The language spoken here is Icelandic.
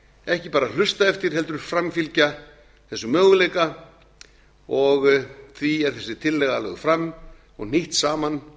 ekki bara hlusta eftir heldur framfylgja þessum möguleika og því er þessi tillaga lögð fram og hnýtt saman